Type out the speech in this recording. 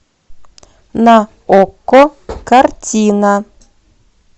на окко картина